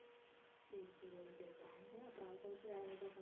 சரி சரி okay okay அங்க அப்பறம் அதை தவிர்த்து வேற எதாவது,